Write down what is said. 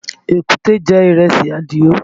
Èkúté jẹ ìrẹsì Àdìó